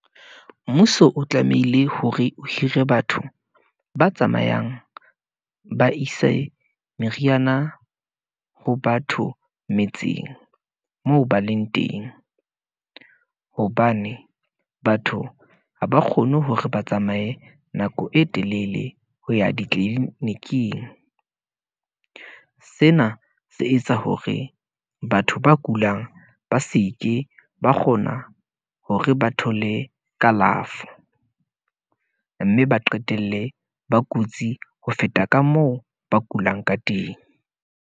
Mmuso o tlamehile hore o hire batho ba tsamayang, ba ise meriana ho batho metseng, moo ba leng teng , hobane batho ha ba kgone hore ba tsamaye nako e telele, ho ya ditliliniking . Sena se etsa hore batho ba kulang, ba seke ba kgona hore ba thole kalafo , mme ba qetelle ba kutsi, ho feta ka moo ba kulang ka teng.